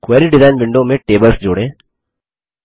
query design window में tables जोड़ें